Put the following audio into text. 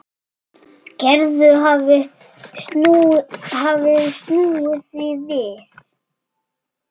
Þetta er gott svona.